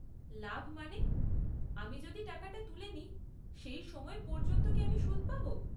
লাভ মানে, আমি যদি টাকাটা তুলে নিই, সেই সময় পর্যন্ত কি আমি সুদ পাব?